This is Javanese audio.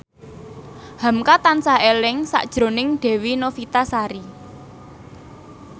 hamka tansah eling sakjroning Dewi Novitasari